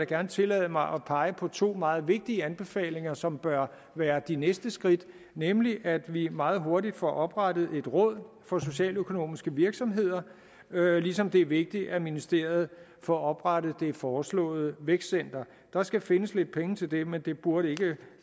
gerne tillade mig at pege på to meget vigtige anbefalinger som bør være de næste skridt nemlig at vi meget hurtigt får oprettet et råd for socialøkonomiske virksomheder ligesom det er vigtigt at ministeriet får oprettet det foreslåede vækstcenter der skal findes lidt penge til det men det burde ikke